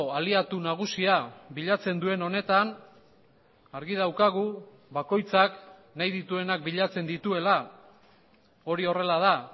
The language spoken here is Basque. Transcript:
aliatu nagusia bilatzen duen honetan argi daukagu bakoitzak nahi dituenak bilatzen dituela hori horrela da